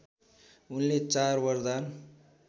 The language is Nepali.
उनले चार वरदान